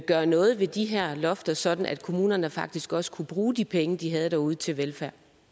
gøre noget ved de her lofter sådan at kommunerne faktisk også kunne bruge de penge de har derude til velfærd